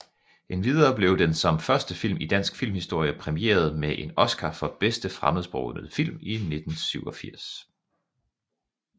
Endvidere blev den som første film i dansk filmhistorie præmieret med en Oscar for bedste fremmedsprogede film i 1987